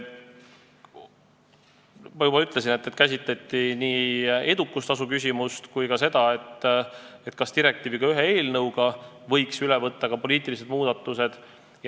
Ma juba ütlesin, et käsitleti nii edukustasu küsimust kui ka seda, kas eelnõuga võiks üle võtta poliitilisi muudatusi.